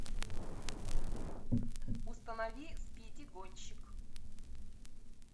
установи спиди гонщик